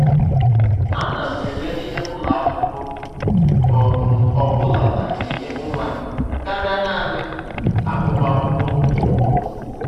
Ana m ele ihe ụlọ akwụkwọ ọ um bụla na-enye nwa m karịa naanị agụmakwụkwọ na ụgwọ.